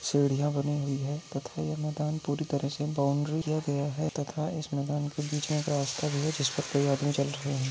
सीढिया बनी हुई है तथा ये मैदान पूरी तरह से बाउंड्री तथा इस मैदान के बीच में एक रास्ता भी है जिसपे आदमी चल रहे है।